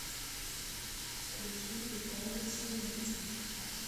включи виталий синицын